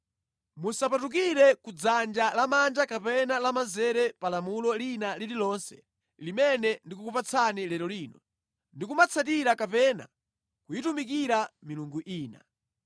Musapatukire ku dzanja lamanja kapena lamanzere pa lamulo lina lililonse limene ndikukupatsani lero lino ndi kumatsatira kapena kuyitumikira milungu ina.